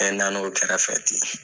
n na na o kɛrɛfɛ ten.